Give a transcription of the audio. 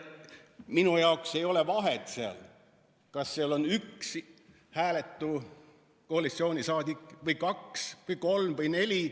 Minu jaoks ei ole vahet, kas seal on üks hääletu koalitsiooniliige või kaks või kolm või neli.